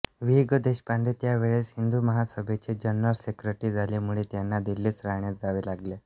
वि घ देशपांडे त्यावेळेस हिंदुमहासभेचे जनरल सेक्रेटरी झाल्यामुळे त्यांना दिल्लीस राहण्यास जावे लागले